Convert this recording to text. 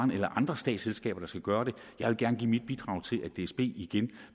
bahn eller andre statsselskaber der skal gøre det jeg vil gerne give mit bidrag til at dsb igen